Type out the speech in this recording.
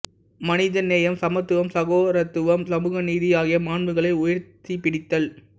மனிதநேயம் சமத்துவம் சகோதரத்துவம் சமூக நீதி ஆகிய மாண்புகளை உயர்த்திப் பிடித்தல்